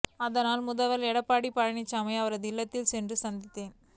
அதனால் முதல்வர் எடப்பாடி பழனிச்சாமியை அவரது இல்லத்தில் சென்று சந்தித்தேன்